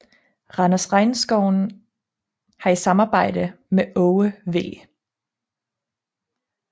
Randers Regnskoven har i samarbejde med Aage V